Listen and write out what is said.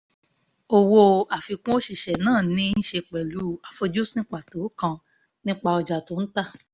owó àfikún òṣìṣẹ́ náà ní í ṣe pẹ̀lú àfojúsùn pàtó kan nípa ọjà tó ń tà